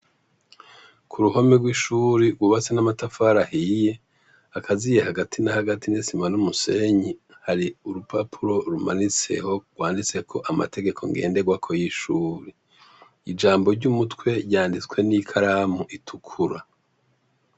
Kuruhome rw’ishure rwubatse n’amatafari ahiye akaziye hagati na hagati n’isima n’umusenyi hari urupapuro rwanditseko amategeko ngenderwaka yiryo shure, ijambo ry’umutwe ryanditswe n’ikaramu itukura.